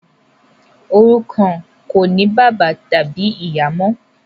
òrukàn kò ní bàbá tàbí ìyá mọ.